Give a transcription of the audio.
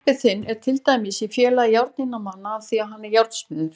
Pabbi þinn er til dæmis í Félagi járniðnaðarmanna af því að hann er járnsmiður.